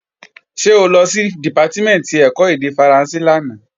Ṣé o lọ sí Dìpátímẹ̀ntì ẹ̀kọ́ èdè Faransé lánàá?